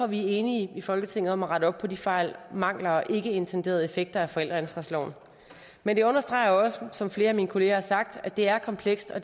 vi er enige i folketinget om at rette op på de fejl mangler og ikkeintenderede effekter af forældreansvarsloven men det understreger også som flere af mine kolleger har sagt at det er komplekst og